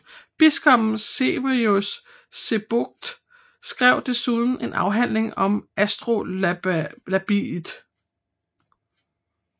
Biskoppen Severus Sebokht skrev desuden en afhandling om astrolabiet